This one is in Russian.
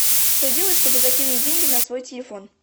что делать чтобы закинуть деньги на свой телефон